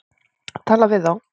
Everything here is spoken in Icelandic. Tala við þá.